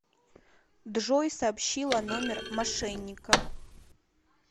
джой сообщила номер мошенникам